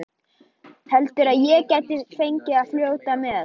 Heldurðu að ég gæti fengið að fljóta með?